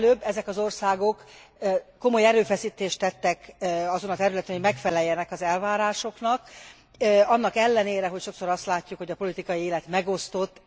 Ezek az országok komoly erőfeszítést tettek annak érdekében, hogy megfeleljenek az elvárásoknak, annak ellenére, hogy sokszor azt látjuk, hogy a politikai élet megosztott.